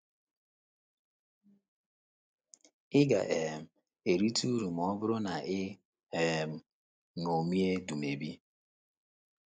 Ị ga um - erite uru ma ọ bụrụ na i um ṅomie Dumebi.